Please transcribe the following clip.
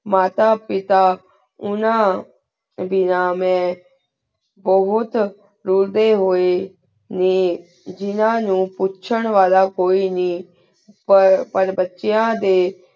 ਮਾਤਾ ਪਿਤਾ ਉਨਾ ਬੇਨਾ ਮੈਂ ਬੁਹਤ ਰੁਲਦੀ ਹੂਯ ਨਯਨ ਜਿਨਾ ਨੂ ਪੂਛੇੰ ਵਾਲਾ ਕੋਈ ਨੀ ਪਰ ਬਚੇਯਾਂ ਡੀ